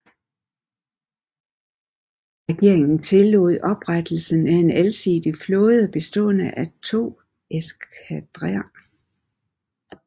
Regeringen tillod oprettelsen af en alsidig flåde bestående af to eskadrer